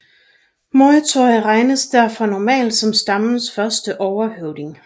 Moytoy regnes derfor normalt som stammen første overhøvding